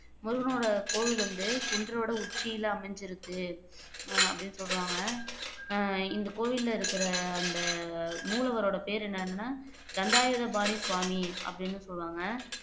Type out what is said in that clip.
முருகனோட கோவில் வந்து குன்றோட உச்சியில அமைஞ்குருக்கு அஹ் அப்படின்னு சொல்றாங்க அஹ் இந்த கோவில்ல இருக்குற அந்த மூலவரோட பேரு என்னன்னா தண்டாயுதாபாணி சுவாமி அப்படின்னு சொல்லுவாங்க